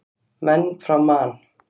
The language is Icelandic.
Menn frá Man.